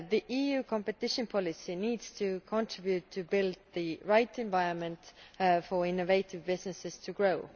EU competition policy needs to contribute to building the right environment for innovative businesses to grow.